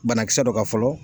Banakisɛ dɔ ka fɔlɔ